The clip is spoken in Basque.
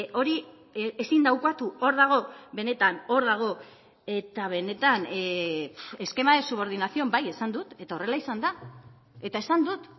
hori ezin da ukatu hor dago benetan hor dago eta benetan esquema de subordinación bai esan dut eta horrela izan da eta esan dut